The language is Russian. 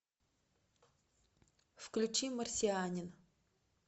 включи марсианин